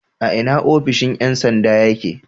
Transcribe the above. A ina ofishon ƴan sanda yake?